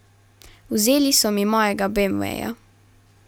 Vzeli so mi mojega beemveja.